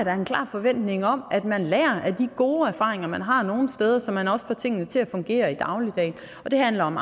forventning om at man lærer af de gode erfaringer man har nogle steder så man også får tingene til at fungere i dagligdagen det handler om